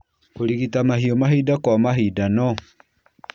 Kũrigita mahiũ mahinda kwa mahinda no